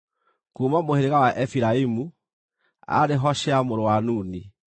kuuma mũhĩrĩga wa Efiraimu, aarĩ Hoshea mũrũ wa Nuni;